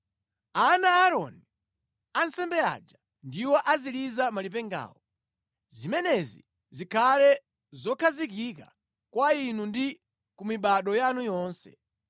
“Ana a Aaroni, ansembe aja, ndiwo aziliza malipengawo. Zimenezi zikhale zokhazikika kwa inu ndi ku mibado yanu yonse.